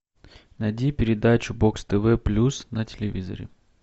найди передачу бокс тв плюс на телевизоре